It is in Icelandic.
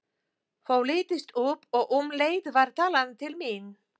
Það lýstist upp og um leið var talað til mín.